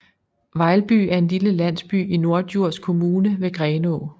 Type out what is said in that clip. Vejlby er en lille landsby i Norddjurs Kommune ved Grenaa